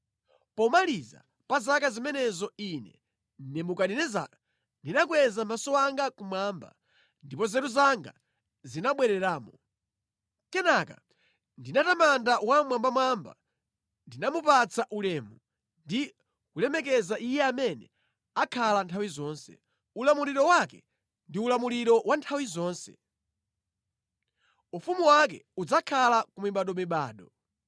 Pomaliza pa zaka zimenezo ine, Nebukadinezara ndinakweza maso anga kumwamba, ndipo nzeru zanga zinabwereramo. Kenaka ndinatamanda Wammwambamwamba; ndinamupatsa ulemu ndi kumulemekeza Iye amene akhala nthawi zonse. Ulamuliro wake ndi ulamuliro wa nthawi zonse; ufumu wake udzakhala ku mibadomibado.